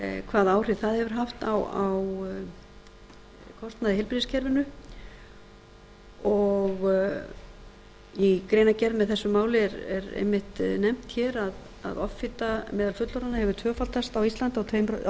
hvaða áhrif það hefur haft á kostnað í heilbrigðiskerfinu í greinargerð með þessu máli er einmitt nefnt hér að offita meðal fullorðinna hefur tvöfaldast á íslandi á